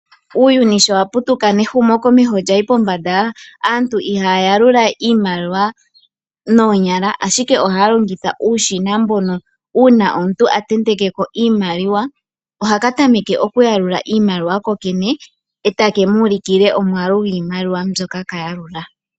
Uuyuni sho wa putuka nehumo komeho lyayi pombanda, aantu ihaya ya lula we iimaliwa noonyala ashike ohaya longitha uushina mbono uuna omuntu a tenteke ko iimaliwa ohaka tameke oku yalula iimaliwa ko kene etake muulukile omwaalu gwiimaliwa mbyoka ka yalula.